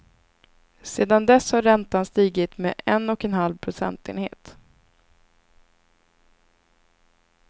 Sedan dess har räntan stigit med en och en halv procentenhet.